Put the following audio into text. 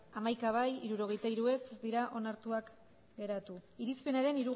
hamaika bai hirurogeita hiru ez ez dira onartuak geratu irizpenaren